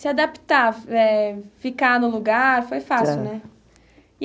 Se adaptar, eh, ficar no lugar, foi fácil, né?